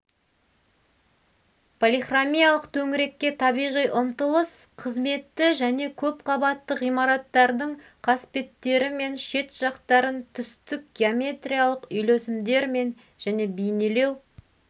полихромиялық төңірекке табиғи ұмтылыс қызметті және көп қабатты ғимараттардың қасбеттері мен шет жақтарын түстік геометриялық үйлесімдермен және бейнелеу